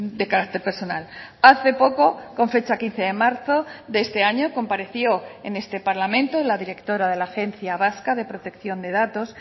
de carácter personal hace poco con fecha quince de marzo de este año compareció en este parlamento la directora de la agencia vasca de protección de datos